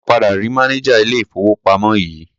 A ò padà rí mánejà ilé-ìfowópamọ́ yìí.